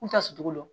N ta sucogo dɔn